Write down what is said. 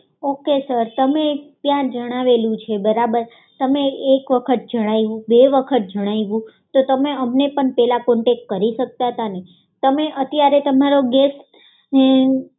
okay sir તમે ત્યાં જણાવેલું છે બરોબર તમે એક વખત જણાવ્યું બે વખત જણાવ્યું તો તમે અમને પણ પહેલાં કોન્ટેક્ટ કરી શકતા હતા ને તમે અત્યારે તમારો ગેસ